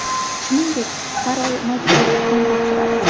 Shuningdek, har oy majburiy qon topshiradi.